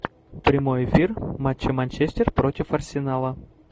прямой эфир матча манчестер против арсенала